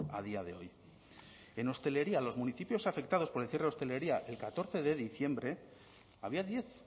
a día de hoy en hostelería los municipios afectados por el cierre de la hostelería el catorce de diciembre había diez